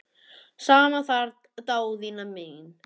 Sama þar Daðína mín.